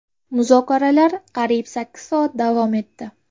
Muzokaralar qariyb sakkiz soat davom etdi.